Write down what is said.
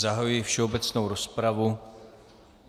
Zahajuji všeobecnou rozpravu.